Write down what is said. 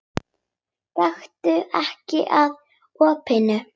Gakktu ekki að opinu.